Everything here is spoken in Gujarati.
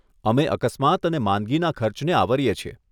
અમે અકસ્માત અને માંદગીના ખર્ચને આવરીએ છીએ.